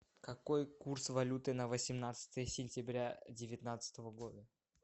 какой курс валюты на восемнадцатое сентября девятнадцатого года